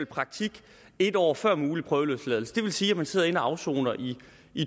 praktik en år før en mulig prøveløsladelse det vil sige at man sidder inde og afsoner i